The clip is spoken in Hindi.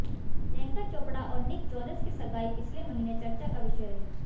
प्रियंका चोपड़ा और निक जोनस की सगाई पिछले महीने चर्चा का विषय रही